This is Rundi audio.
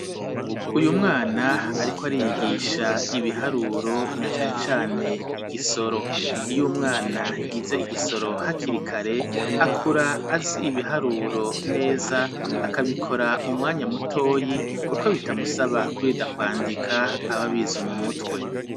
Uyu mwana ariko ariyigisha ibiharuro na cane cane igisoro iy'umwana yize igisoro hakirikare akura azi ibiharuro neza akabikora mu mwanya mutoyi kuko bitamusaba kurinda kwandika ababizi mu mutwe.